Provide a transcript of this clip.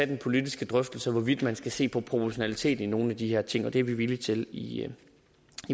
den politiske drøftelse af hvorvidt man skal se på proportionalitet i nogle af de her ting og det er vi villige til i